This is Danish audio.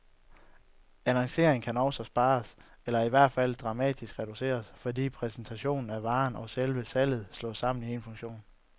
Annonceringen kan også spares, eller i hvert fald dramatisk reduceres, fordi præsentationen af varerne og selve salget slås sammen i en funktion.